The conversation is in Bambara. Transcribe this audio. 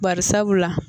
Bari sabula